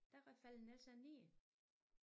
Der faldt den altså ned